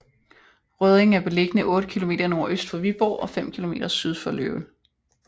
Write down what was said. Rødding er beliggende 8 kilometer nordøst for Viborg og fem kilometer syd for Løvel